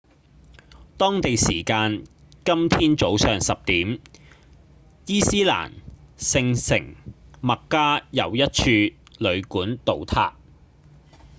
當地時間今天早上10點伊斯蘭聖城麥加有一處旅館倒塌